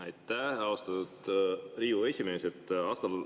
Aitäh, austatud Riigikogu esimees!